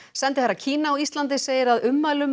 sendiherra Kína á Íslandi segir að ummælum